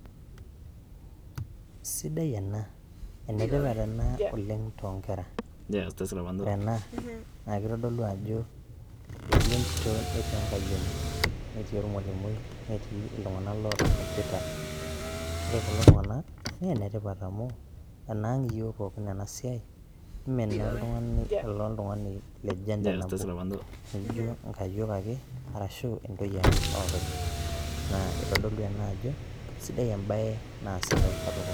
Sidai ena, enetipat ena oleng too inkera, ore ena naa keitodolu ajoo etii entito netii enkaiyoni neti orwalimui netii iltunganak loota computer, ore kulo tunganak naa netipat amu enaang' yook pookin ena siaai, emee nooltungani le gender nabo naigo inkaiyok ake arashu entoiye ake oopeny naa eitodolu ena ajo esidai embae naasita i katukul.